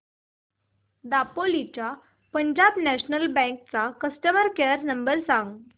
दापोली च्या Punjab national bank चा customer care number सांग